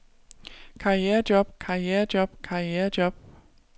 karrierejob karrierejob karrierejob